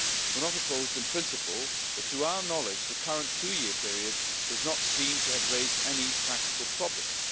We're not opposed in principle but, to our knowledge, the current two year period does not seem to have raised any practical problems.